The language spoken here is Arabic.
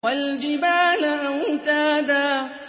وَالْجِبَالَ أَوْتَادًا